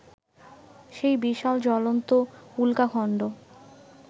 সেই বিশাল জ্বলন্ত উল্কাখন্ড